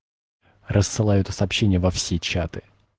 рассылаю это сообщения во все чаты